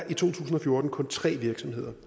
i to tusind og fjorten kun tre virksomheder